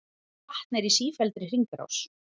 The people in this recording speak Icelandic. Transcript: Vatn er í sífelldri hringrás.